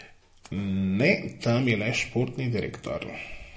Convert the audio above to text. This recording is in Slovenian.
Ne, tam je le športni direktor.